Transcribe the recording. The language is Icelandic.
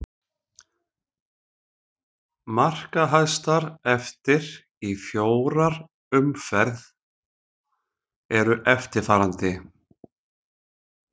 Markahæstar eftir í fjórar umferð eru eftirfarandi: